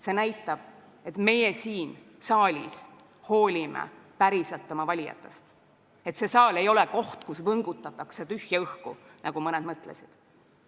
See näitab, et meie siin saalis hoolime päriselt oma valijatest ja see saal ei ole koht, kus võngutatakse tühja õhku, nagu mõned mõtlesid.